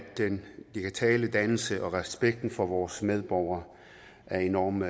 den digitale dannelse og respekten for vores medborgere er enormt